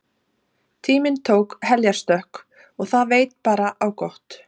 Tíminn tók heljarstökk og það veit bara á gott.